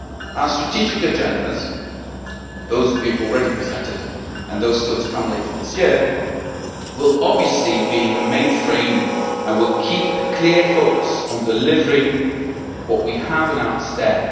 Our strategic agendas those we have already presented and those still to come later this year will obviously be the main frame, and we will keep a clear focus on delivering what we have announced there.